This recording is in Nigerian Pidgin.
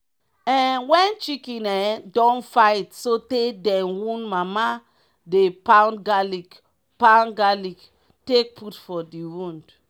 um wen chicken um don fight sotey dem wound mama dey pound garlic pound garlic take put for d wound.